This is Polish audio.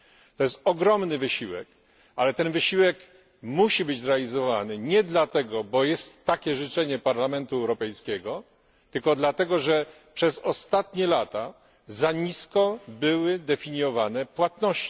To jest ogromny wysiłek, ale ten wysiłek musi być zrealizowany nie dlatego, że takie jest życzenie Parlamentu Europejskiego, tylko dlatego, że przez ostatnie lata płatności były definiowane za nisko.